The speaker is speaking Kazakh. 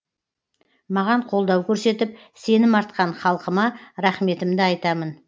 маған қолдау көрсетіп сенім артқан халқыма рахметімді айтамын